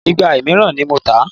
Ìgbà náírà ní mò ń tà á.